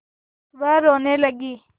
वह रोने लगी